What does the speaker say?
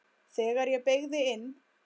Þegar ég beygði inn